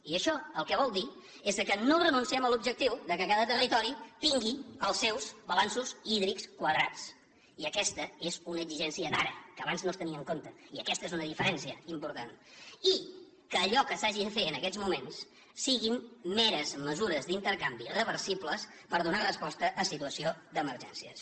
i això el que vol dir és que no renunciem a l’objectiu que cada territori tingui els seus balanços hídrics quadrats i aquesta és una exigència d’ara que abans no es tenia en compte i aquesta és una diferència important i que allò que s’hagi de fer en aquests moments siguin meres mesures d’intercanvi reversibles per donar resposta a situacions d’emergència